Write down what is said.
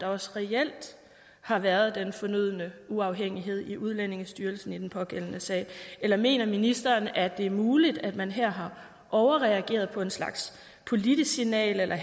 også reelt har været den fonødne uafhængighed i udlændingestyrelsen i den pågældende sag eller mener ministeren at det er muligt at man her har overreageret på en slags politisk signal eller